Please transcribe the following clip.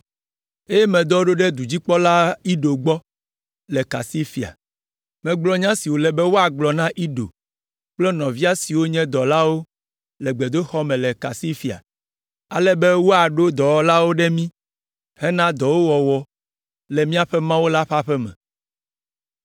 eye medɔ wo ɖo ɖe dudzikpɔla Ido gbɔ le Kasifia. Megblɔ nya si wòle be woagblɔ na Ido kple nɔvia siwo nye dɔlawo le gbedoxɔ me le Kasifia, ale be woaɖo dɔwɔlawo ɖe mí hena dɔwo wɔwɔ le míaƒe Mawu la ƒe aƒe me.